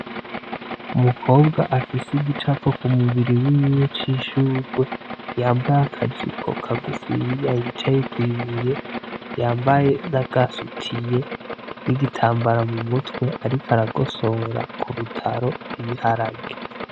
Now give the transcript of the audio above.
Umukobwa afise igicapo k'umubiri wiwe c'ishurwe, yambaye akajipo kagufiya yicaye kw'ibuye, yambaye n'agasutiye n'igitambara mu mutwe ariko aragosora ku rutaro ibiharage.